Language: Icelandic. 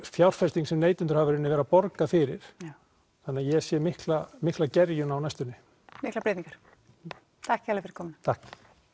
fjárfesting sem neytendur hafa í raun verið að borga fyrir þannig ég sé mikla mikla gerjun á næstunni miklar breytingar takk kærlega fyrir komuna takk